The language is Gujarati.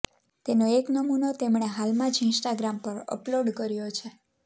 તેનો એક નમુનો તેમણે હાલમાં જ ઈન્સ્ટાગ્રામ પર અપલોડ કર્યો છે